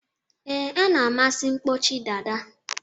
Ee, a na-amasi mkpọchi dada